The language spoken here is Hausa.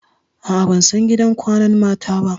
A'a, ban san gidan kwanan mata ba.